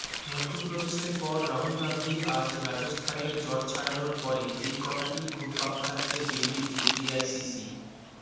মধ্যপ্রদেশের পর রাহুল গাঁধী আজ রাজস্থানের জট ছাড়ানোর পরে এই কথাটিই ঘুরপাক খাচ্ছে দিল্লিতে এআইসিসি